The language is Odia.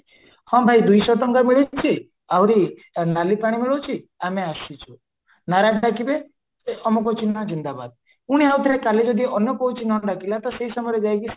ହଁ ଭାଇ ଦୁଇଶହ ଟଙ୍କା ମିଳୁଚି ଆହୁରି ନାଲି ପାଣି ମିଳୁଚି ଆମେ ଆସିଚୁ ଅମକ ଚିହ୍ନା ଜିନ୍ଦବାଦ ପୁଣି ଆଉଥରେ କାଲି ଯଦି ଅନ୍ୟ କୋଉ ଚିହ୍ନ ଡାକିଲା ତ ସେଇ ସମୟରେ ଯାଇକି